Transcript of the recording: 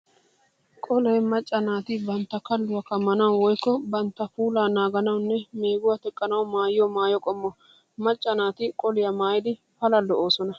Qolee macca naati bantta kalluwaa kammanawu woykko bantta puulaa naaganawunne meeguwaa teqqanawu maayiyo maayo qommo. Macca naati qoliyaa maayidi Pala lo'oosona.